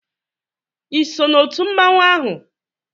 ị so na otu mmanwụ ahụ?